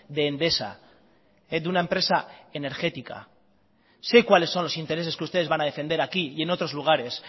de endesa de una empresa energética sé cuáles son los intereses que ustedes van a defender aquí y en otros lugares